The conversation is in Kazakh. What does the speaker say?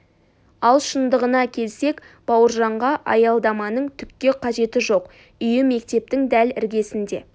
ал шындығына келсек бауыржанға аялдаманың түкке қажеті жоқ үйі мектептің дәл іргесінде